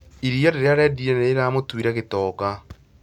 Iria rĩrĩa arendirie nĩ rĩramũtuire gĩtonga